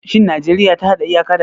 Shin Najeriya ta hada iyaka da Ghana?